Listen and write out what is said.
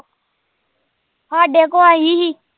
ਸਾਡੇ ਕੋਲ ਆਈ ਸੀ